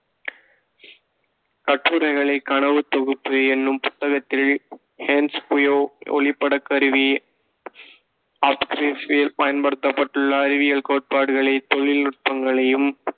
கட்டுரைகளை கனவுத் தொகுப்பு எனும் புத்தகத்தில் ஹென்ஸ் குயோ ஒளிப்படக் கருவி பயன்படுத்தப்பட்டுள்ள அறிவியல் கோட்பாடுகளை, தொழில்நுட்பங்களையும்,